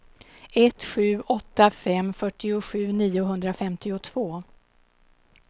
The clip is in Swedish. ett sju åtta fem fyrtiosju niohundrafemtiotvå